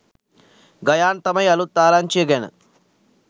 ගයාන් තමයි අලුත් ආරංචිය ගැන